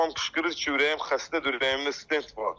Papam qışqırır ki, ürəyim xəstədir, ürəyimdə stent var.